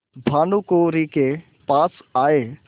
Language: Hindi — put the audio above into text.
भानुकुँवरि के पास आये